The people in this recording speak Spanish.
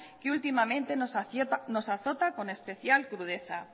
que últimamente nos azota con especial crudeza